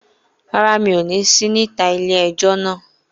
Rárá, mi ò ní sí níta ilé-ẹjọ́ náà